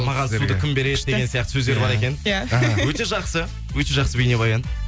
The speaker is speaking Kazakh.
маған суды кім береді деген сияқты сөздер бар екен ия өте жақсы өте жақсы бейнебаян